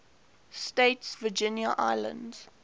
states virgin islands